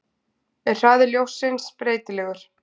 Er hraði ljóssins breytilegur?